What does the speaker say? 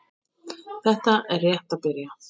Þetta er rétt að byrja.